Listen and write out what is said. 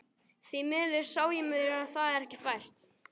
Því miður sá ég mér það ekki fært.